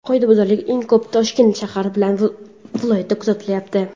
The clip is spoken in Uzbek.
Qoidabuzarlik eng ko‘p Toshkent shahri bilan viloyatida kuzatilyapti.